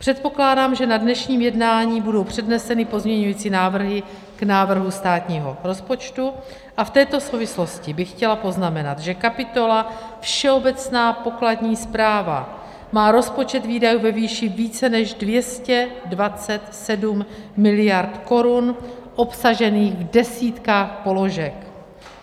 Předpokládám, že na dnešním jednání budou předneseny pozměňovací návrhy k návrhu státního rozpočtu, a v této souvislosti bych chtěla poznamenat, že kapitola Všeobecná pokladní správa má rozpočet výdajů ve výši více než 227 miliard korun obsažených v desítkách položek.